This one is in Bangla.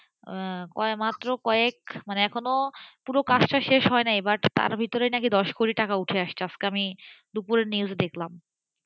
মাত্র কয়েক মানে এখনো পুরো কাজটা শেষ হয় নাই তার মধ্যেই দশ কোটি টাকা উঠে এসেছেআজকে আমি দুপুরে news দেখলাম,